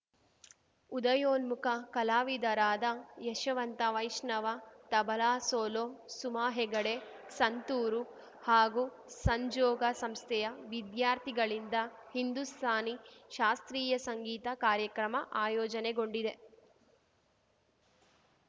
ಉದಯೋನ್ಮುಖ ಕಲಾವಿದರಾದ ಯಶವಂತ ವೈಷ್ಣವ ತಬಲಾ ಸೋಲೊ ಸುಮಾ ಹೆಗಡೆ ಸಂತೂರು ಹಾಗೂ ಸಂಜೋಗ ಸಂಸ್ಥೆಯ ವಿದ್ಯಾರ್ಥಿಗಳಿಂದ ಹಿಂದುಸ್ತಾನಿ ಶಾಸ್ತ್ರೀಯ ಸಂಗೀತ ಕಾರ್ಯಕ್ರಮ ಆಯೋಜನೆಗೊಂಡಿದೆ